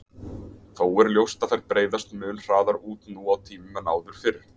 Þó er ljóst að þær breiðast mun hraðar út nú á tímum en áður fyrr.